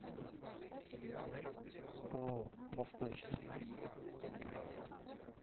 пао восточный